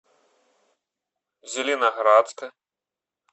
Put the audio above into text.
зеленоградска